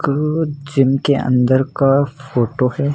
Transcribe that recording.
अ gym के अंदर का फोटो है।